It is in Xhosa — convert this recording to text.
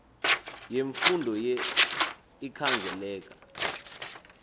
yemfundo ye ikhangeleka